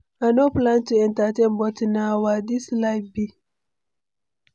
I no plan to entertain, but na wah this life be!